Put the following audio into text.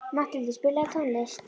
Matthildur, spilaðu tónlist.